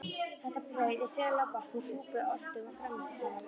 Þetta brauð er sérlega gott með súpum, ostum og grænmetissalati.